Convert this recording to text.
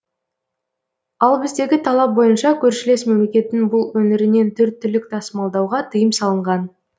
ал біздегі талап бойынша көршілес мемлекеттің бұл өңірінен төрт түлік тасымалдауға тыйым салынған